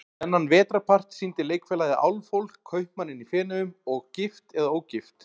Þennan vetrarpart sýndi Leikfélagið Álfhól, Kaupmanninn í Feneyjum og Gift eða ógift?